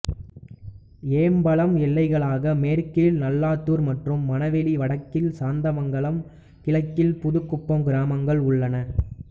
ஏம்பலம் எல்லைகளாக மேற்கில் நல்லாதூர் மற்றும் மனவெளி வடக்கில் சாத்தமங்கலம் கிழக்கில் புதுகுப்பம் கிராமங்கள் உள்ளன